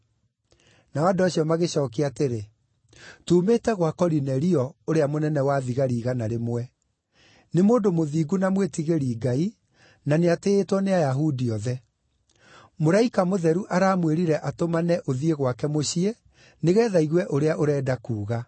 Nao andũ acio magĩcookia atĩrĩ, “Tuumĩte gwa Korinelio, ũrĩa mũnene-wa-thigari-igana rĩmwe. Nĩ mũndũ mũthingu na mwĩtigĩri-Ngai, na nĩatĩĩtwo nĩ Ayahudi othe. Mũraika mũtheru aramwĩrire atũmane ũthiĩ gwake mũciĩ nĩgeetha aigue ũrĩa ũrenda kuuga.”